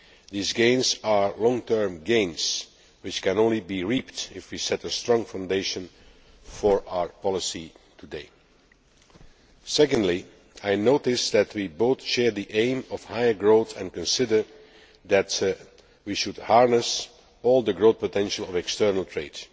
These gains are long term gains, which can only be reaped if we set a strong foundation for our policy today. Secondly, I notice that we both share the aim of higher growth and consider that we should harness all the growth potential of external trade.